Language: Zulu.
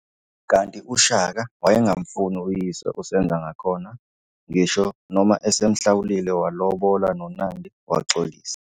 Kanti uShaka wayengamfuni uyise uSenzangakhona, ngisho noma esemhlawulile walobola noNandi waxolisa.